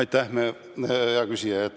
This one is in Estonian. Aitäh, hea küsija!